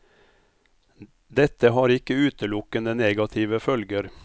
Dette har ikke utelukkende negative følger.